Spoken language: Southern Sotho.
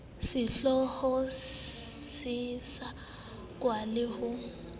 sehlooho se sekasekwa le ho